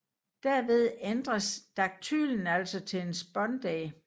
Derved ændres daktylen altså til en spondæ